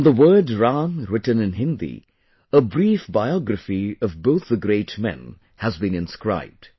On the word 'Ram' written in Hindi, a brief biography of both the great men has been inscribed